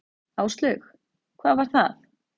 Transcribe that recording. Áslaug: Hvað var það?